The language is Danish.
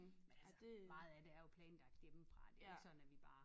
Men altås meget af det er jo planlagt hjemmefra det er ikke sådan et vi bare